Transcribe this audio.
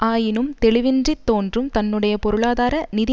ஆயினும் தெளிவின்றி தோன்றும் தன்னுடைய பொருளாதார நிதி